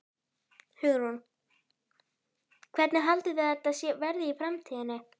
Hugrún: Hvernig haldið þið að þetta verði í framtíðinni?